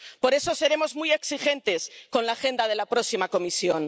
Por eso seremos muy exigentes con la agenda de la próxima Comisión.